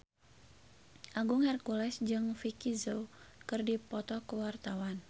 Agung Hercules jeung Vicki Zao keur dipoto ku wartawan